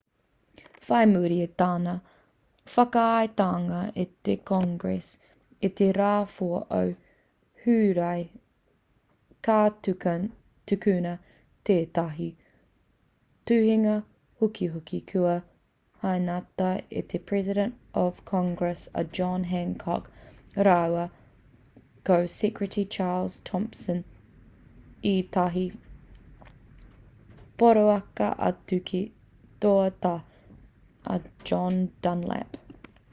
whai muri i tana whakaaetanga e te congress i te rā 4 o hūrae ka tukuna tētahi tuhinga hukihuki kua hainatia e te president of congress a john hancock rāua ko secretary charles thompson ētahi poraka atu ki te toa tā a john dunlap